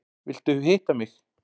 Vilt hitta mig.